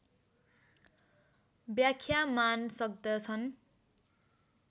व्याख्या मान सक्दछन्